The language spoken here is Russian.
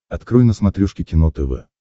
открой на смотрешке кино тв